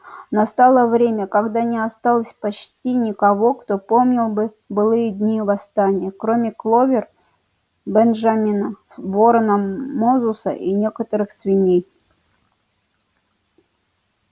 настало время когда не осталось почти никого кто помнил бы былые дни восстания кроме кловер бенджамина ворона мозуса и некоторых свиней